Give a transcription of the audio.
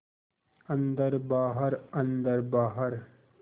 अन्दर बाहर अन्दर बाहर